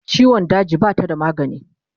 ciwon daji Bata da magani